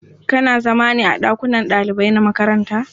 Kana zama ne a ɗakunan ɗalibai na makaranta?